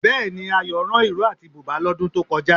Bẹ́ẹ̀ni, Ayọ̀ rán ìró àti bùbá lọ́dún tó kọjá